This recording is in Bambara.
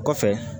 O kɔfɛ